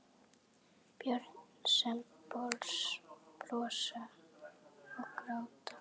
Börn sem brosa og gráta.